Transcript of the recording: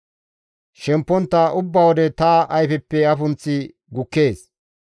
Shempontta ubba wode ta ayfeppe afunththi gukkees.